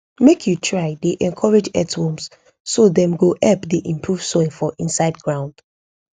make you try dey encourage earthworms so dem go help dey improve soil for inside ground